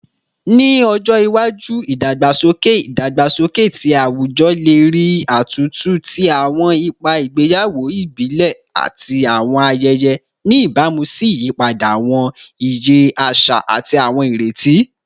Ni ojo iwaju, idagbasoke idagbasoke ti awujọ le rii atuntu ti awọn ipa igbeyawo ibile ati awọn ayẹyẹ, ni ibamu si iyipada awọn iye aṣa ati awọn ireti